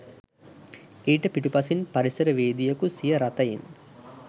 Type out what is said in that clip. ඊට පිටුපසින් පරිසරවේදියකු සිය රථයෙන්